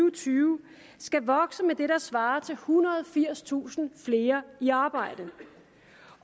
og tyve skal vokse med det der svarer til ethundrede og firstusind flere i arbejde